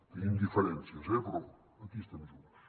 tenim diferències eh però aquí estem junts